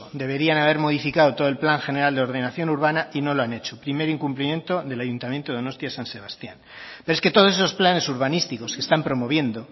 deberían haber modificado todo el plan general de ordenación urbana y no lo han hecho primer incumplimiento del ayuntamiento de donostia san sebastián pero es que todos esos planes urbanísticos que están promoviendo